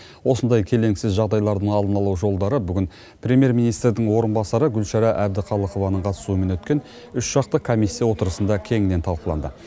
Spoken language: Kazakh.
осындай келеңсіз жағдайлардың алдын алу жолдары бүгін премьер министрдің орынбасары гүлшара әбдіқалықованың қатысуымен өткен үшжақты комиссия отырысында кеңінен талқыланды